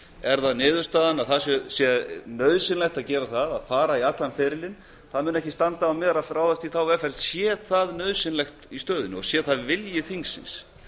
er það niðurstaðan að það sé nauðsynlegt að gera það að fara í allan ferilinn það mun ekki standa á mér að ráðast í þá vegferð sé það nauðsynlegt í stöðunni og sé það vilji þingsins